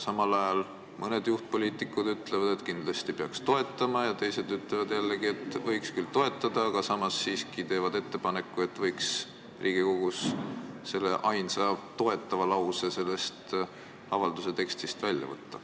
Mõned nende juhtpoliitikud ütlevad, et kindlasti peaks seda toetama, ja teised ütlevad jällegi, et võiks küll toetada, aga samas teevad siiski ettepaneku, et Riigikogus võiks selle ainsa toetava lause selle avalduse tekstist välja võtta.